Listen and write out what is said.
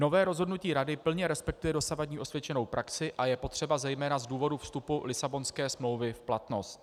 Nové rozhodnutí Rady plně respektuje dosavadní osvědčenou praxi a je potřeba zejména z důvodu vstupu Lisabonské smlouvy v platnost.